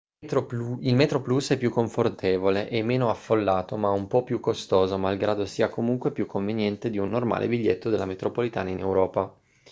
il metroplus è più confortevole e meno affollato ma un po' più costoso malgrado sia comunque più conveniente di un normale biglietto della metropolitana in europa